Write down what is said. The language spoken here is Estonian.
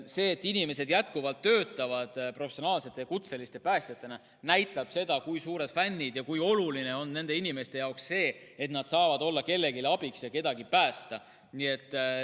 See, et inimesed jätkuvalt töötavad professionaalsete, kutseliste päästjatena, näitab seda, kui suured fännid nad on ja kui oluline on nende inimeste jaoks see, et nad saavad olla kellelegi abiks ja kedagi päästa.